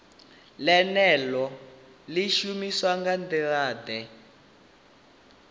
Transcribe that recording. ḽeneḽo ḽi shumiswa nga nḓilaḓe